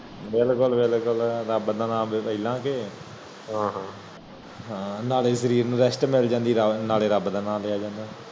ਵਿਲਕੁਲ ਵਿਲਕੁਲ ਰਬ ਨਾ ਨਾਲੇ ਸ਼ਰੀਰ rest ਮਿਲ ਜਾਂਦੀ ਨਾਲੇ ਰਬ ਨਾ ਨਾ ਲਿਆ ਜਾਂਦਾ